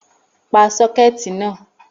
Pa sọ́kẹ̀tì náà!